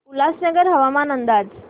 उल्हासनगर हवामान अंदाज